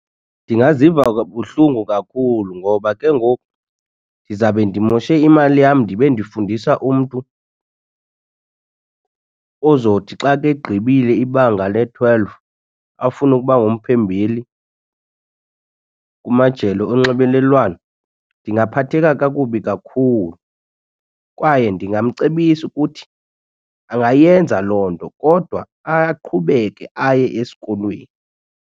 Ndingaziva kabuhlungu kakhulu ngoba ke ngoku ndizawube ndimoshe imali yam ndibe ndifundisa umntu ozothi xa ke egqibile ibanga le-twelve afunukuba ngumphembeli kumajelo onxibelelwano. Ndingaphatheka kakubi kakhulu kwaye ndingamcebisa ukuthi angayenza loo nto kodwa aqhubeke aye esikolweni.